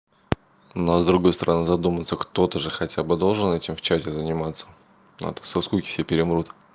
но с другой стороны задуматься кто-то же хотя бы должен этим в чате заниматься а то со скуки все перемрут